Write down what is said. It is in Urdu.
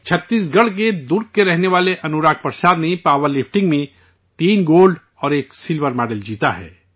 چھتیس گڑھ کے درگ کے رہنے والے انوراگ پرساد نے پاور لفٹنگ میں تین گولڈ اور ایک سلور میڈل جیتا ہے